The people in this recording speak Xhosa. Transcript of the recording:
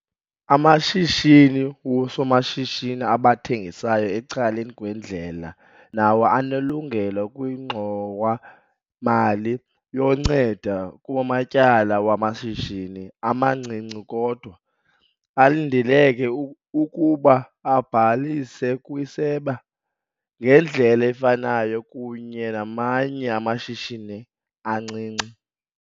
Amashishini woosomashishini abathengisayo ecaleni kwendlela nawo anelungelo kwiNgxowa-mali yoNceda kuMatyala wamaShishini amaNcinci kodwa alindeleke ukuba abhalise kwiSebe ngendlela efanayo kunye namanye amashishini ancinci.